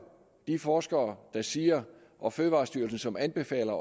de forskere der siger og fødevarestyrelsen som anbefaler